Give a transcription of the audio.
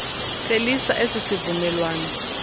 phelisa esi sivumelwano